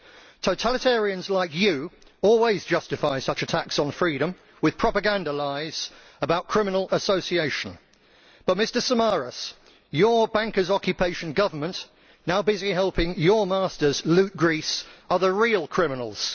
Totalitarians like you always justify such attacks on freedom with propaganda lies about criminal association but, Mr Samaras, your bankers' occupation government now busy helping your masters loot Greece are the real criminals.